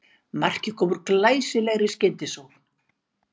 Markið kom úr glæsilegri skyndisókn